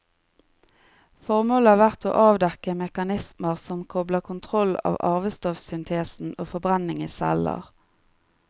Formålet har vært å avdekke mekanismer som kobler kontroll av arvestoffsyntesen og forbrenning i celler.